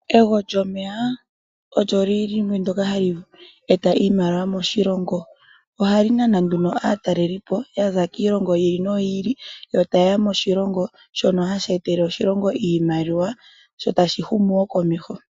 Ego lyomeya olyo limwe ndyoka hali eta iimaliwa moshilongo. Ohali nana aatalelipo ya za kiilongo yi ili noyi ili, yo taye ya moshilongo shono hashi etele oshilongo iimaliwa sho tashi humu wo komeho.